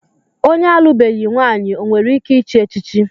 Onye alụbeghi nwaanyị o nwere ike ịchị echichi?